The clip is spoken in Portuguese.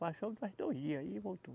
Passou mais dois dias e voltou.